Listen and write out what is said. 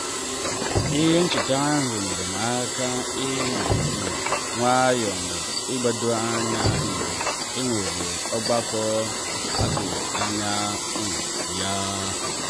ihe ncheta ahụ nyere m aka ị nọ um nwayọọ na ị gbado anya mgbe enwere ọgbakọ atughi anya um ya.